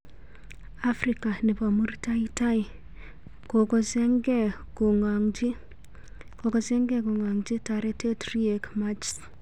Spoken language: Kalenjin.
afrika nepo murtai tai ,"kokojernge kongaji taretet Riek Machsr."